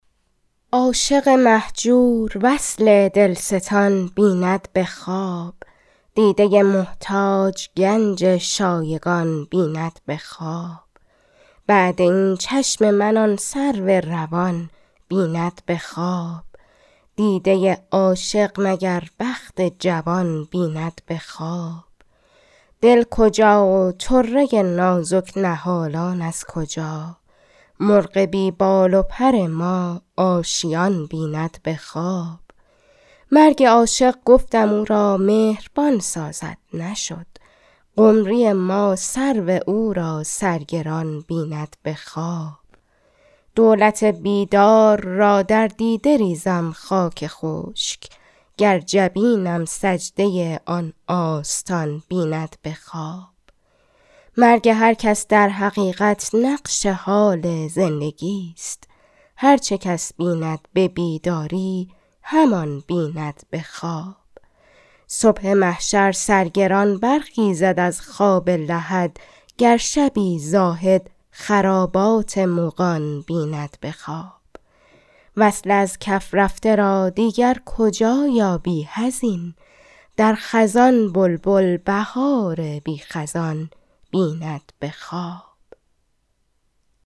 عاشق مهجور وصل دلستان بیند به خواب دیده محتاج گنج شایگان بیند به خواب بعد این چشم من آن سرو روان بیند به خواب دیده عاشق مگر بخت جوان بیند به خواب دل کجا و طره نازک نهالان از کجا مرغ بی بال و پر ما آشیان بیند به خواب مرگ عاشق گفتم او را مهربان سازد نشد قمری ما سرو او را سرگران بیند به خواب دولت بیدار را در دیده ریزم خاک خشک گرجبینم سجده آن آستان بیند به خواب مرگ هر کس در حقیقت نقش حال زندگی ست هر چه کس بیند به بیداری همان بیند به خواب صبح محشر سرگران برخیزد از خواب لحد گر شبی زاهد خرابات مغان بیند به خواب وصا ازکف رفته را دیگرکجا یابی حزین در خزان بلبل بهار بی خزان بیند به خواب